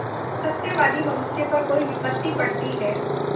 सत्यवादी मनुष्य पर कोई विपत्त पड़ती हैं